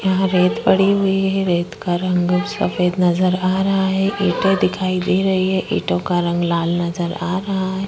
यहाँ पर रेत पड़ी हुई है रेत का रंग सफेद नज़र आ रहा है ईटे दिखाई दे रही है ईंटो का रंग लाल नज़र आ रहा है।